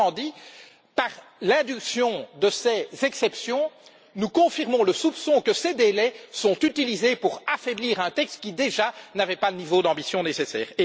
Autrement dit, par l'induction de ces exceptions, nous confirmons le soupçon que ces délais sont utilisés pour affaiblir un texte qui, déjà, n'avait pas le niveau d'ambition nécessaire.